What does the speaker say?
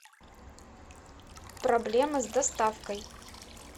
проблемы с доставкой